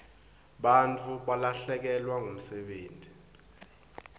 bantfu balahlekelwa msebenti